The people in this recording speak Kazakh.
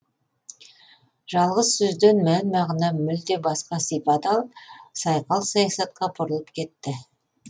жалғыз сөзден мән мағына мүлде басқа сипат алып сайқал саясатқа бұрылып кетті